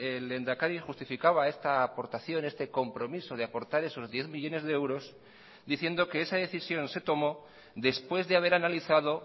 el lehendakari justificaba esta aportación este compromiso de aportar esos diez millónes de euros diciendo que esa decisión se tomó después de haber analizado